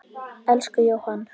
Elsku Jóhann.